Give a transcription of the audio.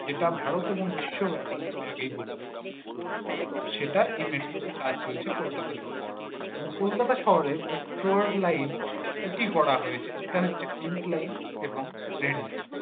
যেটা ভারত এবং বিশ্বব্যাপী আমি আগেই বললাম সেটাই ই metro কাজ চলছে কলকাতা শহরে এবং কলকাতা শহরে metro র লাইন দুটি করা হয়েছে যেটা হচ্ছে pink লাইন এবং red লাইন